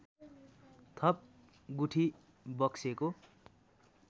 थप गुठी बक्सेको